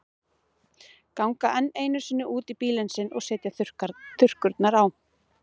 Ganga enn einu sinni út í bílinn sinn og setja þurrkurnar á.